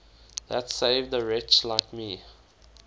that saved a wretch like me